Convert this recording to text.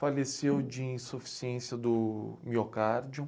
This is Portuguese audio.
Faleceu de insuficiência do miocárdio.